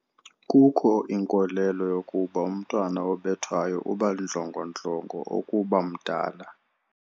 Kukho inkolelo yokuba umntwana obethwayo uba ndlongondlongo ukuba mdala.